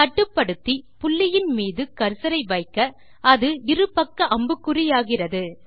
கட்டுப்படுத்தி புள்ளியின் மீது கர்சர் ஐ வைக்க அது இருபக்க அம்புக்குறியாகிறது